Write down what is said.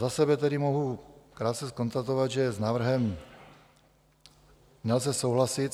Za sebe tedy mohu krátce konstatovat, že s návrhem nelze souhlasit.